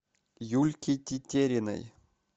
юльки тетериной